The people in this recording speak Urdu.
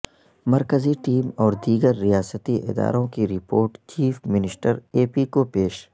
مرکزی ٹیم اور دیگر ریاستی اداروں کی report chief minister A P کو پیش